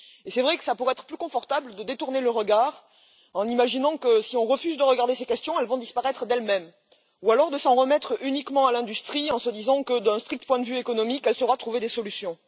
C'est vrai qu'il pourrait être plus confortable de détourner le regard en imaginant que si on refuse de regarder ces questions, elles disparaîtront d'elles mêmes, ou alors de s'en remettre uniquement à l'industrie en se disant que d'un strict point de vue économique, elle saura trouver des solutions.